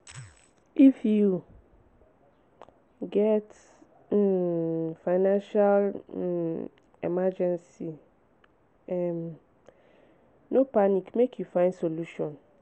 if you get um financial um emergency um no panic make you find solution.